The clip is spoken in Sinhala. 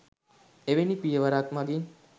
එවැනි පියවරක් මගින්